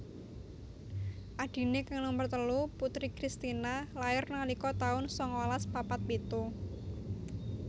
Adhiné kang nomer telu Putri Christina lair nalika taun sangalas papat pitu